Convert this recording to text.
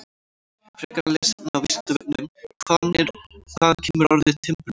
Frekara lesefni á Vísindavefnum: Hvaðan kemur orðið timburmenn?